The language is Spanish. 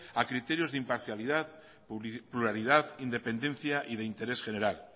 a criterios de imparcialidad pluralidad independencia y de interés general